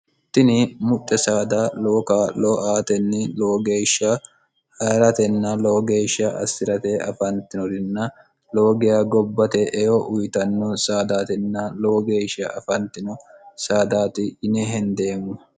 tini muxxe saada lowo kaa'lo aatenni lowo geeshsha hayiratenna lowo geeshsha assirate afiratenninna lowo geya gobbate eyo uyitanno saadaatinna lowo geeshsha afantino saadaati yine hendeemmo